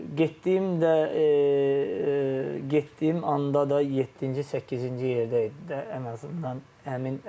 Getdiyimdə getdiyim anda da yeddinci, səkkizinci yerdə idi də ən azından həmin ərəfə.